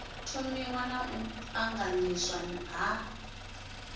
thomiwa na u ṱanganyiswa ha